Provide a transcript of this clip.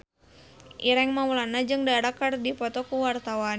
Ireng Maulana jeung Dara keur dipoto ku wartawan